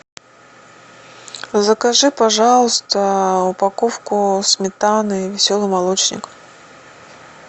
закажи пожалуйста упаковку сметаны веселый молочник